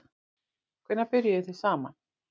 Hvenær byrjuðuð þið saman?